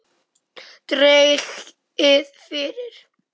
Dregið fyrir.